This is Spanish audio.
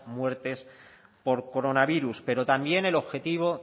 muertes por coronavirus pero también el objetivo